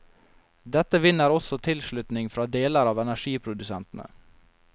Dette vinner også tilslutning fra deler av energiprodusentene.